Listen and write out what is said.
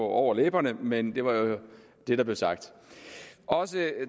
over læberne men det var jo det der blev sagt også